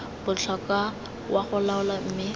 botlhokwa wa go laola mme